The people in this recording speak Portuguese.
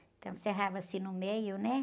Então, cerrava assim no meio, né?